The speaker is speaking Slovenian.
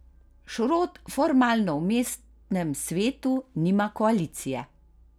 Šrot formalno v mestnem svetu nima koalicije.